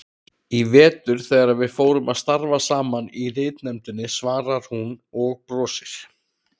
Í vetur þegar við fórum að starfa saman í ritnefndinni, svarar hún og brosir.